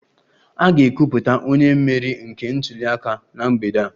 A ga-ekwupụta onye mmeri nke ntuli aka na mgbede a